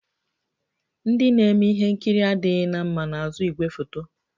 Ndị na-eme ihe nkiri adịghị na mma n'azụ igwefoto